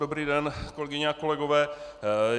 Dobrý den, kolegyně a kolegové.